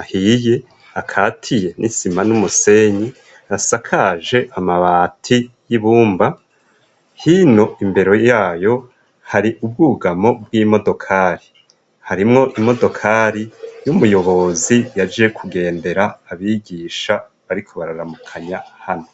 ahiye akatiye n'isima n'umusenyi rasakaje amabati y'ibumba hino imbere yayo hari ubwugamo bw'imodokari harimwo imodokari y'umuyobozi si yaje kugendera abigisha, ariko bararamukanya hano.